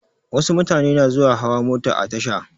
Wasu mutane na zuwa hawa mota a tasha.